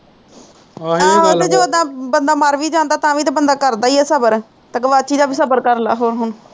ਆਹ ਤੇ ਜਦੋ ਬੰਦਾ ਮਰ ਵੀ ਜਾਂਦਾ ਤਾ ਵੀ ਤਾ ਬੰਦਾ ਕਰਦਾ ਹੀ ਆ ਸਬਰ ਤੇ ਗਵਾਚੀ ਦਾ ਵੀ ਸਬਰ ਕਰਲਾ